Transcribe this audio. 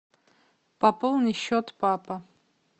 пополни счет папа